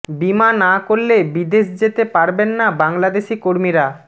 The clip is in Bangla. বীমা না করলে বিদেশ যেতে পারবেন না বাংলাদেশি কর্মীরা